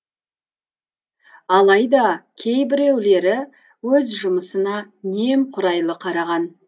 алайда кейбіреулері өз жұмысына немқұрайлы қараған